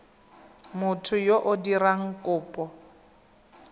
motho yo o dirang kopo